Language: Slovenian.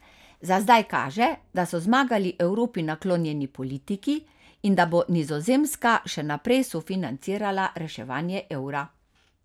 Za zdaj kaže, da so zmagali Evropi naklonjeni politiki in da bo Nizozemska še naprej sofinancirala reševanje evra.